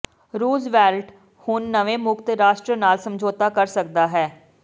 Roosevelt ਹੁਣ ਨਵੇਂ ਮੁਕਤ ਰਾਸ਼ਟਰ ਨਾਲ ਸਮਝੌਤਾ ਕਰ ਸਕਦਾ ਹੈ